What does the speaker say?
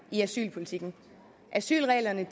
i asylpolitikken asylreglerne